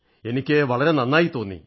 എനിക്ക് വളരെ നന്നായി തോന്നി